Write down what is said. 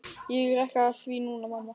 Ég er ekki að því núna, mamma.